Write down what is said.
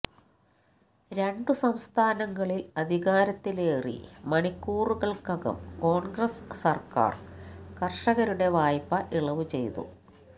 രണ്ടു സംസ്ഥാനങ്ങളിൽ അധികാരത്തിലേറി മണിക്കൂറുകൾക്കകം കോൺഗ്രസ് സർക്കാർ കർഷകരുടെ വായ്പ ഇളവു ചെയ്തു